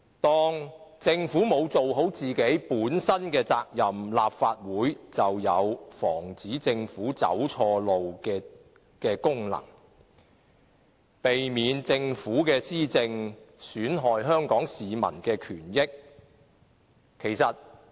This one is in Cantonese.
當政府未盡本身的責任，立法會便要發揮防止政府走錯路的功能，避免政府的施政損害香港市民的權益。